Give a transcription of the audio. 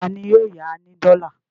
Ta ni yóò ya ní dọ́là?